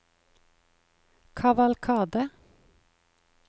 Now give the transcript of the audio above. kavalkade